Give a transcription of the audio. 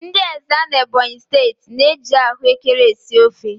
Ndị Ezza n'Ebonyi steeti na-eji ahụekere esi ofe.